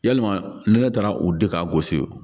Yalima ne taara u di ka gosi o